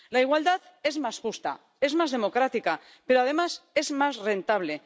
La igualdad es más justa, es más democrática, pero, además, es más rentable.